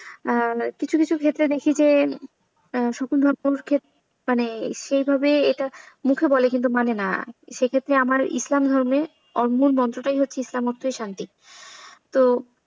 কিছু কিছু ক্ষেত্রে দেখি যে, সকল ধর্মে ক্ষেত্রে মানে সেভাবে এটা মুখে বলে বলে কিন্তু মানে না সে ক্ষেত্রে আমার ইসলাম ধর্মে মূলমন্ত্রটাই হচ্ছে ইসলাম মাত্রই শান্তি তো,